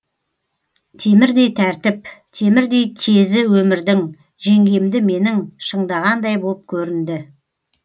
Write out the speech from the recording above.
темірдей тәртіп темірдей тезі өмірдің жеңгемді менің шыңдағандай боп көрінді